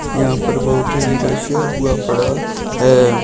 यहां पर बहुत ही रश है। हुआ पड़ा है।